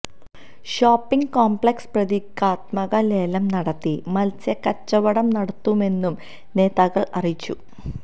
shopping complex പ്രതീകാത്മക ലേലം നടത്തി മത്സ്യകച്ചവടം നടത്തുമെന്നും നേതാക്കള് അറിയിച്ചു